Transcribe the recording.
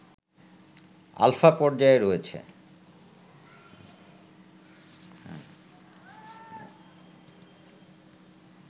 alpha পর্যায়ে রয়েছে